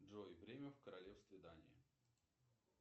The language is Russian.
джой время в королевстве дания